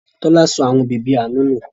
Tọ́lá sọ àwọn bèbí Aanu nù.